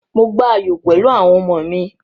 Mò gba ayò pẹ̀lú àwọn ọmọ mi.